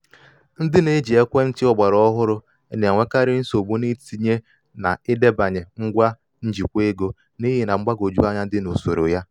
ndị na-eji ekwentị ogbara ohụrụ na-enwekarị nsogbu n’itinye na idebanye ngwa njikwa ego n’ihi mgbagwoju anya dị na usoro ya.